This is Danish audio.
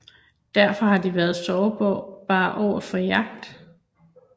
Derfor har de været sårbare overfor jagt